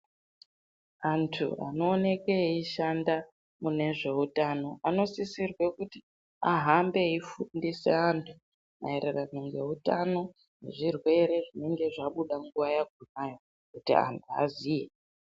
Andu anooke eishanda kune zveutano ano sisirwe kuti ahambe eifundise andu maererano ngehutano ngezvirwere zvinenge zvabuda nguva yakonayo kuti andu aziye.